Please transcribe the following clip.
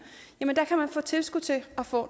få tilskud til at få